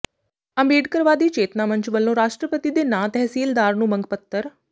ਅੰਬੇਡਕਰਵਾਦੀ ਚੇਤਨਾ ਮੰਚ ਵੱਲੋਂ ਰਾਸ਼ਟਰਪਤੀ ਦੇ ਨਾਂ ਤਹਿਸੀਲਦਾਰ ਨੂੰ ਮੰਗ ਪੱਤਰ